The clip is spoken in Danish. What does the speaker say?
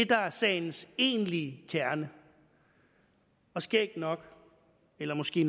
der er sagens egentlige kerne og skægt nok eller måske